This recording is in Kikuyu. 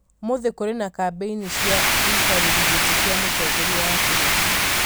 ũmũthĩ nĩ kũrĩ na kambĩini cia ũikarĩri gĩtĩ kia Mũtongoria wa bũrũri